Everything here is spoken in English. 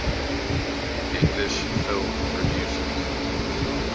english film producers